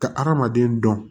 Ka hadamaden dɔn